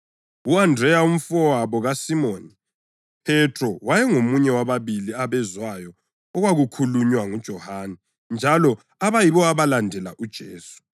U-Andreya, umfowabo kaSimoni Phethro wayengomunye wababili abezwayo okwakukhulunywa nguJohane njalo abayibo abalandela uJesu.